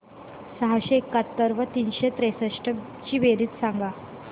सहाशे एकाहत्तर व तीनशे त्रेसष्ट ची बेरीज सांगा